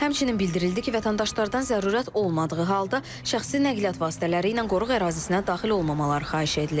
Həmçinin bildirildi ki, vətəndaşlardan zərurət olmadığı halda şəxsi nəqliyyat vasitələri ilə qoruq ərazisinə daxil olmamaları xahiş edilir.